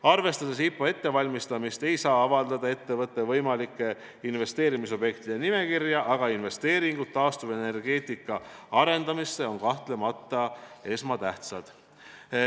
Arvestades IPO ettevalmistamist, ei saa avaldada ettevõtte võimalike investeerimisobjektide nimekirja, aga investeeringud taastuvenergeetika arendamisse on kahtlemata esmatähtsad.